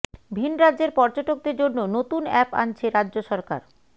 ভিন রাজ্যের পর্যটকদের জন্য নতুন অ্যাপ আনছে রাজ্য সরকার